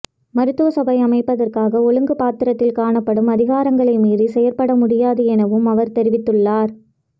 மருத்துவ சபை அமைப்பதற்காக ஒழுங்கு பத்திரத்தில் காணப்படும் அதிகாரங்களை மீறி செயற்பட முடியாது எனவும் அவர் தெரிவித்துள்ளார்